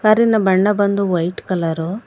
Car ಇನ ಬಣ್ಣ ಬಂದು ವೈಟ್ ಕಲರು .